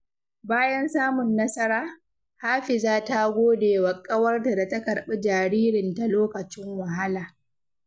Bayan samun nasara, Hafiza ta gode wa ƙawarta da ta karɓi jaririnta lokacin wahala.